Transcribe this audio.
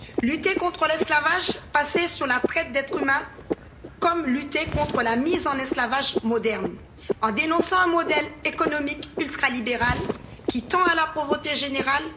Lutter contre l'esclavage passé basé sur la traite d'êtres humains, comme lutter contre la mise en esclavage moderne en dénonçant un modèle économique ultra libéral qui tend à la pauvreté générale.